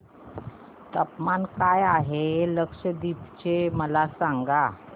तापमान काय आहे लक्षद्वीप चे मला सांगा